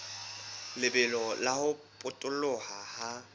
lebelo la ho potoloha ha